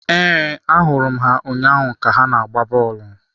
Ee, ahụrụ m ha ụnyaahụ ka ha na-agba bọọlụ.